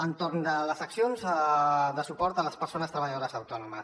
entorn de les accions de suport a les persones treballadores autònomes